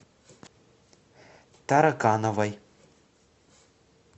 таракановой